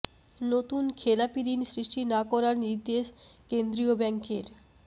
নতুন খেলাপী ঋণ সৃষ্টি না করার নির্দেশ কেন্দ্রীয় ব্যাংকের